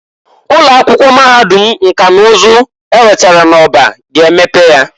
Ụloakwụkwọ Mahadum nka na uzu ewetara n'Orba ga emepe ya.